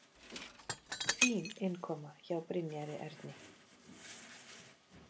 Fín innkoma hjá Brynjari Erni.